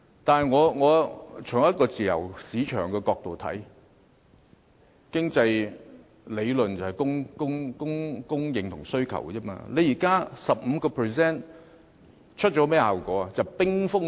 但是，從自由市場的角度來看，經濟理論講求供應和需求，這 15% 印花稅現時產生甚麼效果？